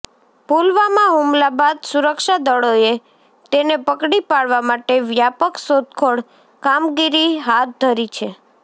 પુલવામા હુમલા બાદ સુરક્ષા દળોએ તેને પકડી પાડવા માટે વ્યાપક શોધખોળ કામગીરી ાહથ ધરી છે